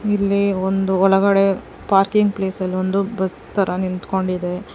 ಇಲ್ಲಿ ಒಂದು ಒಳಗಡೆ ಪಾರ್ಕಿಂಗ್ ಪ್ಲೇಸ್ ಅಲ್ಲೊಂದು ಬಸ್ತರ ನಿಂತುಕೊಂಡಿದೆ.